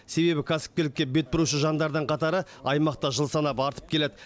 себебі кәсіпкерлікке бет бұрушы жандардың қатары аймақта жыл санап артып келеді